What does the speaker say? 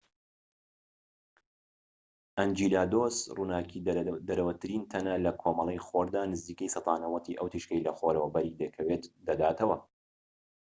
ئەنجیلادۆس ڕووناکیدەرەوەترین تەنە لە کۆمەڵەی خۆردا، نزیکەی سەدا ٩٠ ی ئەو تیشکەی لە خۆرەوە بەری دەکەوێت دەداتەوە